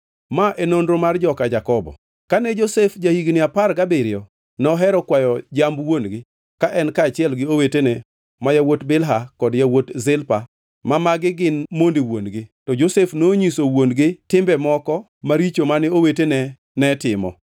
Ma e nonro mar joka Jakobo. Kane Josef ja-higni apar gabiriyo, nohero kwayo jamb wuon-gi ka en kaachiel gi owetene ma yawuot Bilha kod yawuot Zilpa ma magi gin monde wuon-gi. To Josef nonyiso wuon-gi timbe moko maricho ma owetene ne timo.